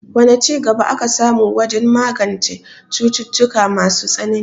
Wane ci gaba aka samu wajen magance cututtuka masu tsanani?